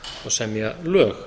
semja lög